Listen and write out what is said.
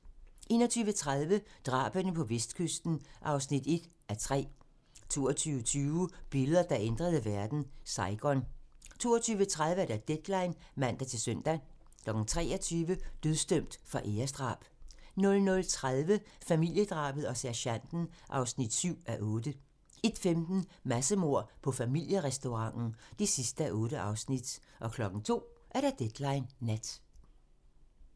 21:30: Drabene på kyststien (1:3) 22:20: Billeder, der ændrede verden: Saigon 22:30: Deadline (man-søn) 23:00: Dødsdømt for æresdrab 00:30: Familiedrabet og sergenten (7:8) 01:15: Massemord på familierestauranten (8:8) 02:00: Deadline Nat